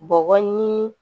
Bɔgɔ ɲini